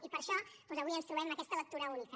i per això doncs avui ens trobem aquesta lectura única